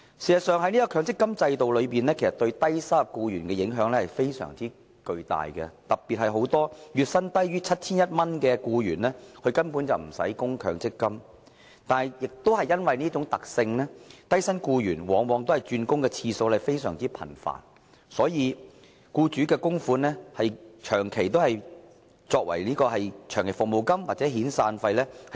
強積金對沖機制對低收入僱員的影響至為重大，特別是月薪低於 7,100 元的僱員根本無需作出強積金供款，但亦因為這種特性，低薪僱員轉工的次數往往較為頻繁，所以僱主的供款長期以來都用來對沖長期服務金或遣散費。